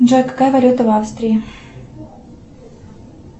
джой какая валюта в австрии